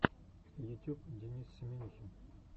ютюб денис семинихин